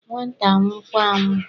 nwata anwụ kwa anwụọ